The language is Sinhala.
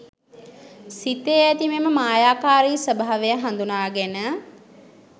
සිතේ ඇති මෙම මායාකාරී ස්වභාවය හඳුනාගෙන